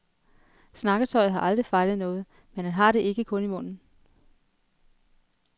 Snakketøjet har aldrig fejlet noget, men han har det ikke kun i munden.